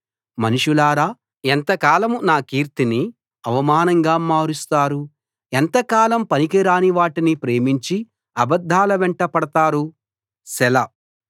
మనుషులారా ఎంతకాలం నా కీర్తిని అవమానంగా మారుస్తారు ఎంతకాలం పనికిరాని వాటిని ప్రేమించి అబద్ధాల వెంటబడతారు సెలా